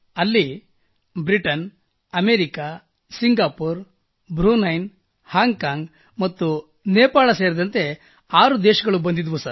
ಅಲ್ಲಿ Britain America Singapore Brunei Hong Kong ಮತ್ತು ನೇಪಾಳ್ ಸೇರಿದಂತೆ ಆರು ದೇಶಗಳು ಬಂದಿದ್ದವು